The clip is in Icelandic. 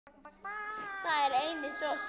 Það er einnig svo sárt.